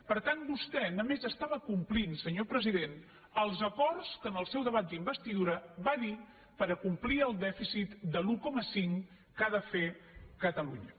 per tant vostè només estava complint senyor president els acords que en el seu debat d’investidura va dir per acomplir el dèficit de l’un coma cinc que ha de fer catalunya